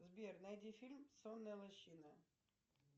сбер найди фильм сонная лощина